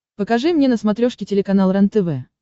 покажи мне на смотрешке телеканал рентв